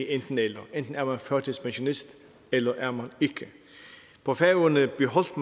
enten eller enten er man førtidspensionist eller er man ikke på færøerne beholdt